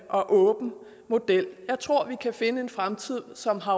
og åben model jeg tror vi kan finde en fremtid som har